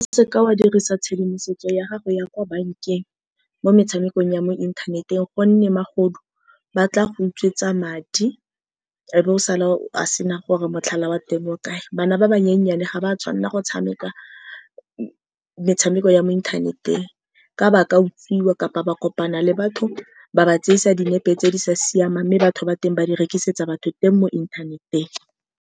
O seka wa dirisa tshedimosetso ya gago ya kwa bankeng mo metshamekong ya mo inthaneteng, ka gonne magodu ba tla go utswetswa madi, wa be o sala o sena gore motlhala wa teng o kae. Bana ba ba nyenyane ga ba tshwanela go tshameka metshameko ya mo inthaneteng, ka ba ka utswiwa kapa ba kopana le batho ba ba tseisa dinepe tse di sa siamang, mme batho ba teng ba di rekisetsa batho teng mo inthaneteng.